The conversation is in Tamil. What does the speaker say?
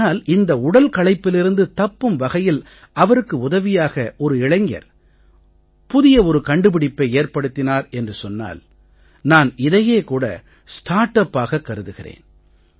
ஆனால் இந்த உடல் களைப்பிலிருந்து தப்பும் வகையில் அவருக்கு உதவியாக ஒரு இளைஞர் புதிய கண்டுபிடிப்பை ஏற்படுத்தினார் என்று சொன்னால் நான் இதையே கூட ஸ்டார்ட் upஆக கருதுகிறேன்